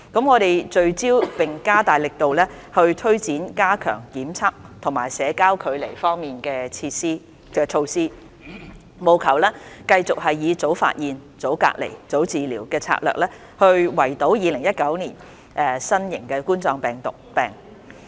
我們聚焦並加大力度推展加強檢測和社交距離方面的措施，務求繼續以"早發現、早隔離、早治療"的策略，圍堵2019冠狀病毒病。